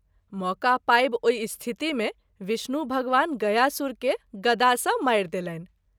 मौका पाबि ओहि स्थिति मे विष्णु भगवान गयासुर के गदा सँ मारि देलनि।